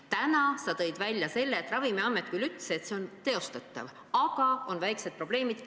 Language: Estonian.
Täna sa tõid välja, et Ravimiamet küll ütles, et eelnõus pakutu on teostatav, aga on väikesed probleemid.